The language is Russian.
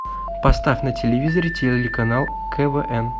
поставь на телевизоре телеканал квн